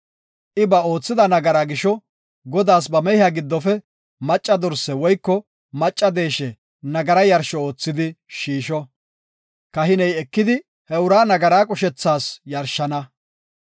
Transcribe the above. I ba oothida nagaraa gisho Godaas ba mehiya giddofe macca dorse woyko macca deeshe nagaraa yarsho oothidi shiisho. Kahiney ekidi he uraa nagaraa qushethas yarshana.